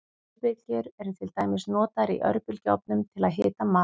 Örbylgjur eru til dæmis notaður í örbylgjuofnum til að hita mat.